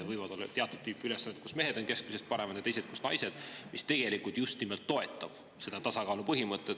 Võivad olla teatud tüüpi ülesanded, kus mehed on keskmisest paremad, ja teised, kus naised, mis tegelikult just nimelt toetab seda tasakaalu põhimõtet.